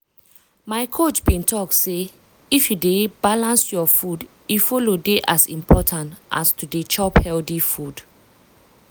my coach bin talk say if you dey balance your food e follow dey as important as to dey chop healthy food.